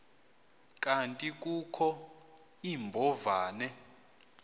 kanti kukho iimbovane